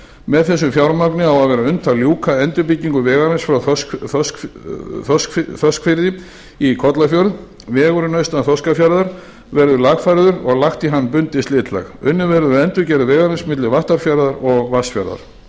með þessu fjármagni á að vera unnt að ljúka endurbyggingu vegarins frá þorskafirði í kollafjörð vegurinn austan þorskafjarðar verður lagfærður og lagt á hann bundið slitlag unnið verður að endurgerð vegarins milli vattarfjarðar og vatnsfjarðar